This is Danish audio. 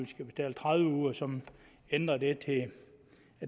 skal betale tredive uger så man ændrer det til at